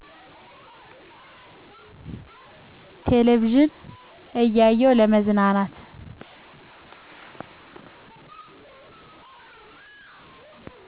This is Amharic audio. ቴለቪዥን እያየው ለመዝናናት